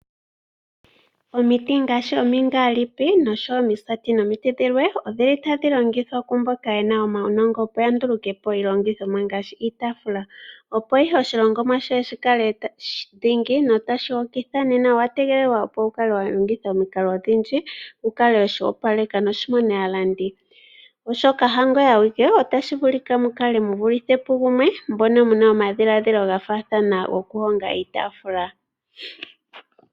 Omiti ngaashi omingaalipi osho wo omisati nomiti dhilwe, odhili tadhi longithwa ku mboka yena omaunongo opo ya nduluke po iilongithoomwa ngaashi iitaafula. Opo ihe oshilongomwa shoye shi kale dhingi no tashi hokitha nena owa tegelelwa opo wu kale wa longitha omikalo odhindji wu kale weshi opaleka noshi mone aalandi. Oshoka ha ngoye awike otashi vulika mu kale mu vulithe pu gumwe mbono muna omadhilaadhilo ga faathana goku honga iitaafula.